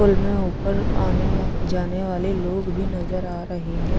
pool में ऊपर आने वाल जाने वाले लोग भी नजर आ रहे है जोकि--